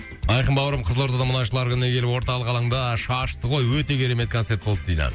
айқын бауырым қызылордада мұнайшылар күніне келіп орталық алаңда шашты ғой өте керемет концерт болды дейді